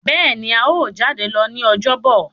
béèni a yíò jade lọ ní Ọjọ́ Bọ̀.